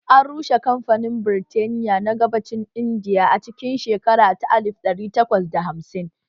An rushe kamfanin Birtaniya na gabacin Indiya a cikin shekara ta alif ɗari takwas da hamsin